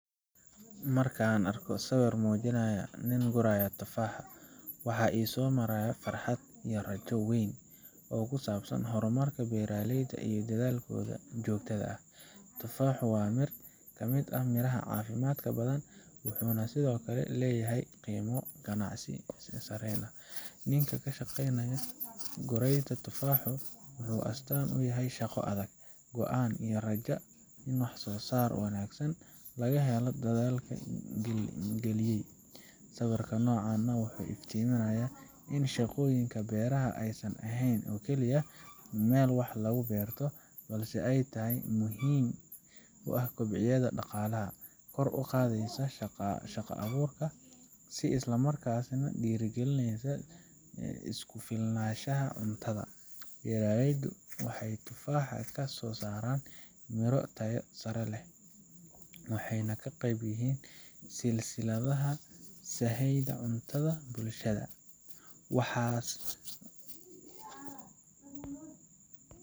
Marka aan arko sawir muujinaya nin guraya tufaax, waxaa i soo maraya farxad iyo rajo weyn oo ku saabsan horumarka beeraleyda iyo dadaalkooda joogtada ah. Tufaaxu waa mid ka mid ah miraha caafimaadka badan leh, wuxuuna sidoo kale leeyahay qiimo ganacsi oo sareeya. Ninka ka shaqeynaya guraidda tufaaxa wuxuu astaan u yahay shaqo adag, go’aan iyo rajada in wax soo saar wanaagsan laga helo dadaalka la geliyey. Sawirka noocan ah wuxuu iftiiminayaa in shaqooyinka beeraha aysan ahayn oo kaliya meel wax lagu beerto, balse ay yihiin il muhiim ah oo kobcinaysa dhaqaalaha, kor u qaadaysa shaqo abuurka, isla markaana dhiirrigelisa isku filnaanshaha cuntada. Beeraleyda tufaaxa waxay soo saaraan miro tayadoodu sareyso, waxayna ka qayb yihiin silsiladda sahayda cunto ee bulshada.